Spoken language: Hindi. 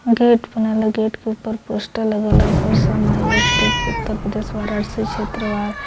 गेट बनल ह गेट के ऊपर पोस्टर लगल ह अपर श्रम आयुक्त उत्तर प्रदेश का वाराणसी क्षेत्र वा --